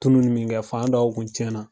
Tunu ni min kɛ fan dɔw kun tiɲɛna.